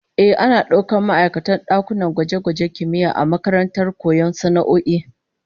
Ehh, ana daukar ma'aikatan dakunan gwaje-gwajen kimiyya a makarantar koyon sana'o'i